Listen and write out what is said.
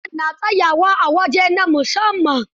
Manyan na tsayawa a waje na musamman.